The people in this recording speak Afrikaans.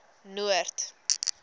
noord